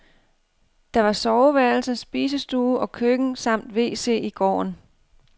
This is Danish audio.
Der var soveværelse, spisestue og køkken samt wc i gården.